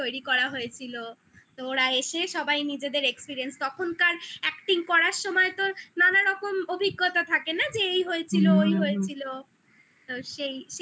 তৈরি করা হয়েছিল ওরা এসে সবাই নিজেদের experience তখনকার acting করার সময় তো নানা রকম অভিজ্ঞতা থাকে না যে এই হয়েছিল হুম হুম ওই হয়েছিল সেই সেই